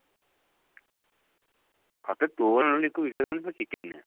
ସତରେ ତୋ ରାଣ ମିକୁ ବିଶ୍ବାସ କରିବୁନି ପୁରା chicken